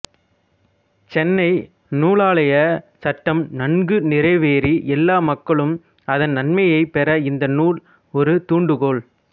சென்னை நூலாலயச் சட்டம் நன்கு நிறைவேறி எல்லா மக்களும் அதன் நன்மையைப் பெற இந்த நூல் ஒரு துண்டுகோல்